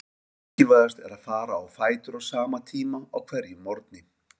Mikilvægast er að fara á fætur á sama tíma á hverjum morgni.